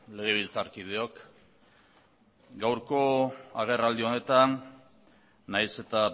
legebiltzarkideok gaurko agerraldi honetan nahiz eta